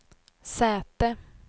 säte